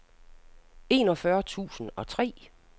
enogfyrre tusind og tre